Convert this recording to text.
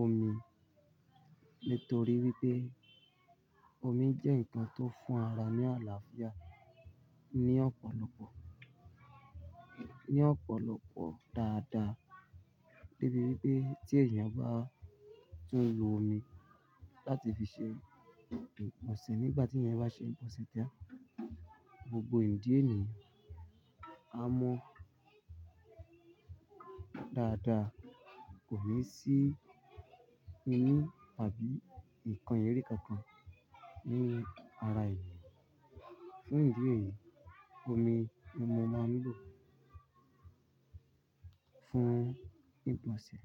omi. Nítorí wípé omi jẹ́ nǹkan tó fún ara ní àlàáfíà ní ọ̀pọ̀lọpọ̀, ní ọ̀pọ̀lọpọ̀ dáadáa. Debí wípé tí èèyàn bá tún lo omi láti fi ṣe ìgbọ̀nsẹ̀ nígbà tí èèyàn bá ṣe ìgbọ̀nsẹ̀ tan, gbogbo ìdí ènìyàn á mọ dáadáa kò ní sí inú tàbí nǹkan eri kankan nínú ara èèyàn. Fún ìdí èyí, omi ni mo máa ń lò fún ìgbọ̀nsẹ̀